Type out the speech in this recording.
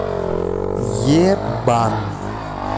ебан